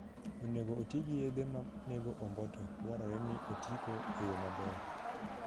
Onego oti gi yedhe manego omboto dwarore ni oti go eyo maber